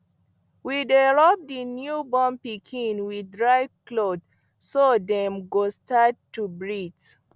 we dy rub the new born pikin with dry cloth so dem go start to breath